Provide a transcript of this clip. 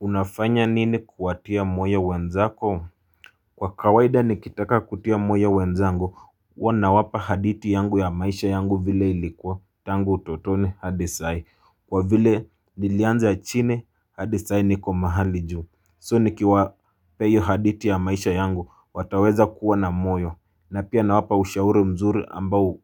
Unafanya nini kuwatia moyo wenzako? Kwa kawaida nikitaka kutia moyo wenzangu huwa nawapa haditi yangu ya maisha yangu vile ilikuwa tango utotoni hadi sai, kwa vile nilianza chini hadi sai niko mahali juu. So nikiwapea hio haditi ya maisha yangu wataweza kuwa na moyo, na pia nawapa ushauri mzuri ambao